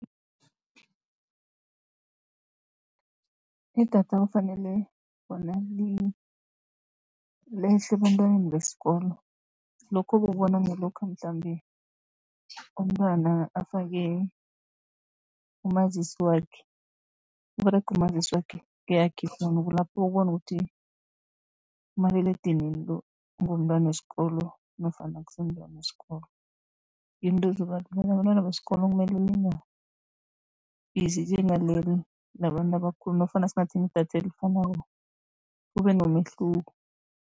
Idatha kufanele bona lehle ebantwaneni besikolo, lokhu ukubona ngalokha mhlambe umntwana afake umazisi wakhe, kuberega umazisi wakhe keyakhe ifowunu, kulapho uyokubona ukuthi umaliledinini lo ngewomntwana wesikolo nofana akusi mntwana wesikolo. Into labentwana besikolo kumele lingabizi njengaleleli labantu abakhulu, nofana singathengi idatha elifanako kube nomehluko.